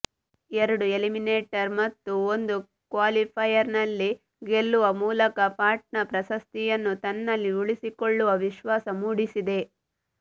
ಎರಡು ಎಲಿಮಿನೇಟರ್ ಮತ್ತು ಒಂದು ಕ್ವಾಲಿಫೈಯರ್ನಲ್ಲಿ ಗೆಲ್ಲುವ ಮೂಲಕ ಪಾಟ್ನಾ ಪ್ರಶಸ್ತಿಯನ್ನು ತನ್ನಲ್ಲಿ ಉಳಿಸಿಕೊಳ್ಳುವ ವಿಶ್ವಾಸ ಮೂಡಿಸಿದೆ